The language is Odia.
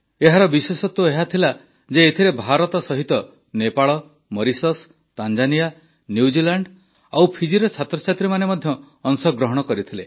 ଏହାର ବିଶେଷତ୍ୱ ଏହା ଥିଲା ଯେ ଏଥିରେ ଭାରତ ସହିତ ନେପାଳ ମରିଶସ୍ ତାଞ୍ଜାନିଆ ନ୍ୟୁଜିଲାଣ୍ଡ ଓ ଫିଜିର ଛାତ୍ରଛାତ୍ରୀମାନେ ମଧ୍ୟ ଅଂଶଗ୍ରହଣ କରିଥିଲେ